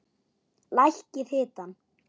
Lækkið hitann.